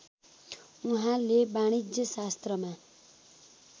उहाँले वाणिज्य शास्त्रमा